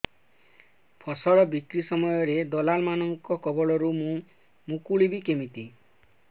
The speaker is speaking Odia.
ଫସଲ ବିକ୍ରୀ ସମୟରେ ଦଲାଲ୍ ମାନଙ୍କ କବଳରୁ ମୁଁ ମୁକୁଳିଵି କେମିତି